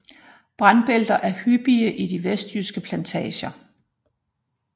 Brandbælter er hyppige i de vestjyske plantager